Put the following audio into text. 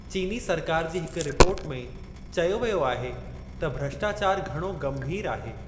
चीनी सरकारु जी हिक रिपोर्ट में चयो वियो आहे त भ्रष्टाचारु 'घणो गंभीरु' आहे।